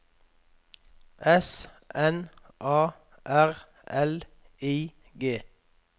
S N A R L I G